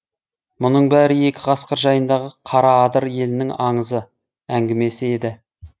мұның бәрі екі қасқыр жайындағы қараадыр елінің аңызы әңгімесі еді